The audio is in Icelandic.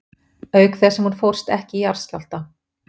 Auk þess sem hún fórst ekki í jarðskjálfta.